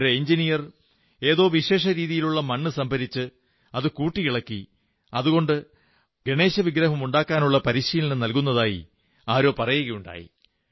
ഒരു എഞ്ചിനീയർ ഏതോ വിശേഷ രീതിയിലുള്ള മണ്ണ് സംഭരിച്ച് അത് കൂട്ടിയിളക്കി അതുകൊണ്ട് ഗണേശവിഗ്രഹമുണ്ടാക്കുന്നതിനുള്ള പരിശീലനം നൽകുന്നതായി ആരോ പറയുകയുണ്ടായി